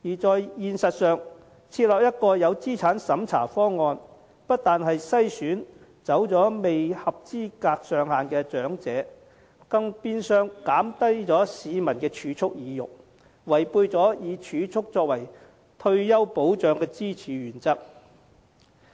事實上，如設立一個有資產審查的方案，不但會篩走未符合資產限額的長者，更變相減低市民的儲蓄意欲，違背了以儲蓄作為退休保障支柱的原則。